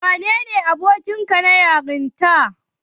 Wanene abokinka na yarinta?